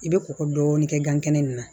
I bɛ kɔkɔ dɔɔnin kɛ gan kɛnɛ ninnu na